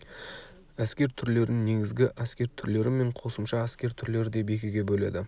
әскер түрлерін негізгі әскер түрлері мен қосымша әскер түрлері деп екіге бөледі